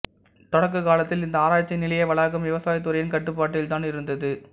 தொடக்கக்காலத்தில் இந்த ஆராய்ச்சி நிலைய வளாகம் விவசாயத் துறையின் கட்டுப்பாட்டில் தான் இருந்தது